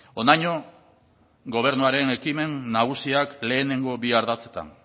honaino gobernuaren ekimen nagusiak lehenengo bi ardatzetan